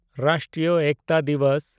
ᱨᱟᱥᱴᱨᱤᱭᱚ ᱮᱠᱛᱟ ᱫᱤᱵᱚᱥ